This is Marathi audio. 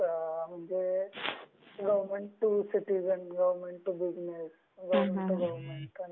government government, government citizen, government business,